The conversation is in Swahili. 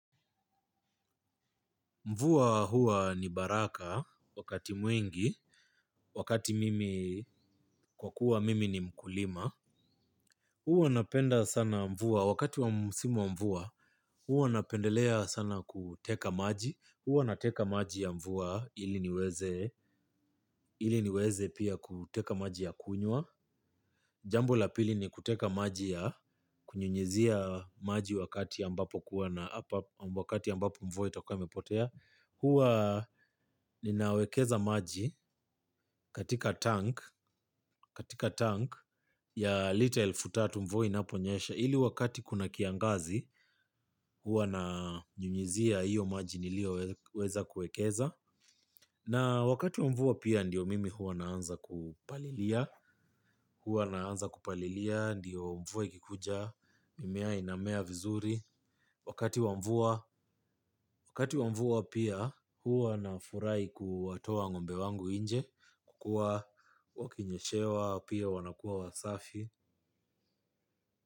Mvua hua ni baraka wakati mwingi, wakati mimi kwa kuwa mimi ni mkulima. Huwa napenda sana mvua, wakati wa simu mvua, huo napendelea sana kuteka maji. Huo nateka maji ya mvua ili niweze, ili niweze pia kuteka maji ya kunywa. Jambo la pili ni kuteka maji ya kunyunyuzia ambapo mvua itakuwa imepotea. Hua ninawekeza maji katika tank ya lita futatu mvuo inaponyesha. Hili wakati kuna kiangazi hua na nyunyizia iyo maji nilio weza kuekeza. Na wakati wamvua pia ndiyo mimi hua naanza kupalilia. Hua naanza kupalilia ndiyo mvuo ikikuja mimea inamea vizuri. Wakati wamvua pia hua na furai kuwatoa ngombe wangu inje. Kukua wakinyeshewa pia wanakuwa wasafi.